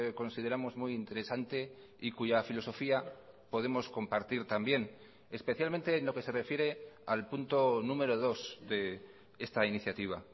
consideramos muy interesante y cuya filosofía podemos compartir también especialmente en lo que se refiere al punto número dos de esta iniciativa